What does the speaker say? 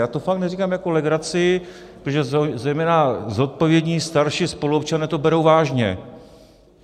Já to fakt neříkám jako legraci, protože zejména zodpovědní starší spoluobčané to berou vážně.